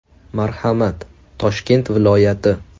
Marhamat, Toshkent viloyati.